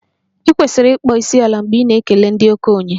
I kwesịrị ịkpọ isiala mgbe ị na-ekele ndị okenye gị